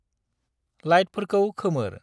लेाइटफोरखौ खोमोर।